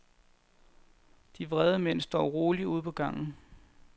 De vrede mænd står roligt ude på gangen.